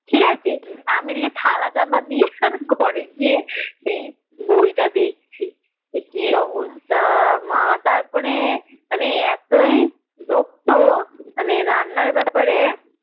ঠিকাছে আমি এদিকে থালা চাপা দিয়ে আর ঘরে গিয়ে সেই বইটা দেখছি সে কি অবস্থা মা তারপরে মানে মা তারপরে